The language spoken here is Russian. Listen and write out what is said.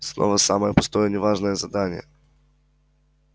снова самое пустое и не важное задание